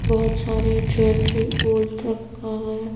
बहुत सारे ज्वेलरी ओल्ट रखा है।